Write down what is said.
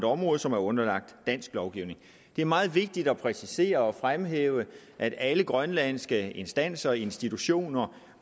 område som er underlagt dansk lovgivning det er meget vigtigt at præcisere og fremhæve at alle grønlandske instanser og institutioner